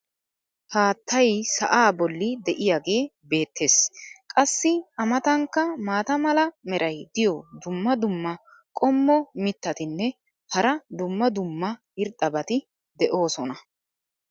Haattay sa"aa boli diyaagee beetees. qassi a matankka maata mala meray diyo dumma dumma qommo mitattinne hara dumma dumma irxxabati de'oosona.